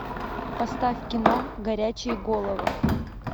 поставь кино горячие головы